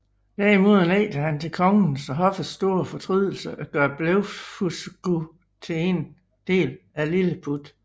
Derimod nægter han til kongens og hoffets store fortrydelse at gøre Blefuscu til en del af Lilleput